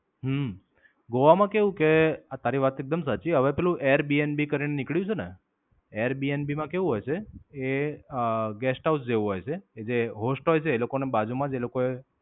હમ ગોવા માં કેવું કે તારી વાત એકદમ સાચી. હવે પેલું એર Bnb કરીને નીકળ્યું છે ને. એ Bnb માં કેવું હોય છે એ અમ Guest House જેવું હોય છે કે જે host હોય છે એ લોકો ને બાજુ માં જ એ લોકોએ